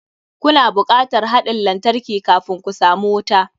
Ku na bukatar haɗin lantarki kafun ku samu wuta.